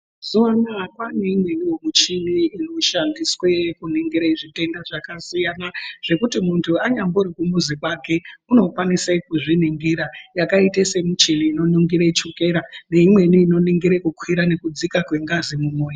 Mazuva anaya kwane imwewo michini inoshandiswe kuningire zvitenda zvaka siyana zvekuti muntu anyambori ku muzi kwake uno kwanise ku zviningira yakaite se muchini ino ningire tsvukera ne imweni ino ningira kukwira ne kudzika kwengazi mu moyo.